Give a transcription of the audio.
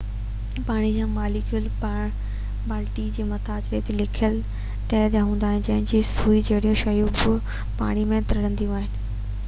پاڻي جا ماليڪيول پالڻي جي مٿاڇري تي لڪيل تهہ ٺاهي ٿا جنهن تي سوئي جهڙيون شيون بہ پاڻي تي ترنديون آهن